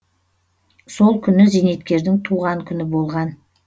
сол күні зейнеткердің туған күні болған